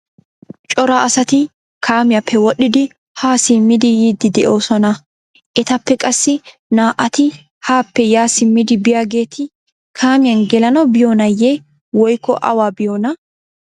cora asati kaamiyappe wodhdhidi ha simmidi yidi de'oosona. etappe qassi naa''ati haappe ya simmidi biyaageeti kaamiyan gelanaw biyoonayye woykko awa biyoona?